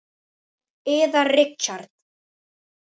Yðar Richard